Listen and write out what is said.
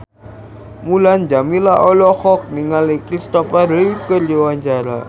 Mulan Jameela olohok ningali Christopher Reeve keur diwawancara